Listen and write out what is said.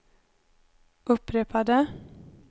upprepade